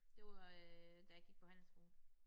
Det var øh da jeg gik på handelsskole